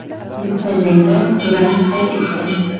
Bitta jangda durang qayd etgan.